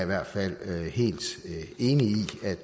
hvert fald helt enig i